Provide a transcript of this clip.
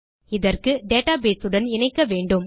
இதற்கு டேட்டாபேஸ் உடன் இணைக்க வேண்டும்